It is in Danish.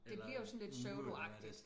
Det bliver jo sådan lidt pseudoagtigt